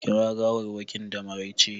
Kira gawarwakin da maraice!